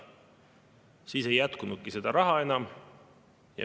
Siis ei jätkunud seda raha ka enam.